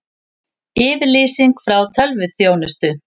Yfirlýsing frá tölvuþjónustu